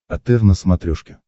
отр на смотрешке